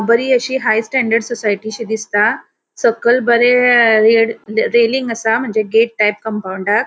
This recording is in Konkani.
बरी अशी हाय स्टैन्डर्ड सोसाइटी शी दिसता. सकल बरे रेलिंग असा म्हणजे गेट टाइप कोंपौंडाक .